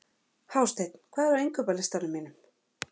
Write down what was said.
Hásteinn, hvað er á innkaupalistanum mínum?